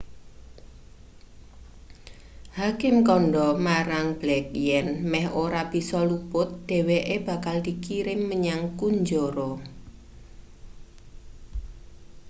hakim kandha marang blake yen meh ora bisa luput dheweke bakal dikirim menyang kunjara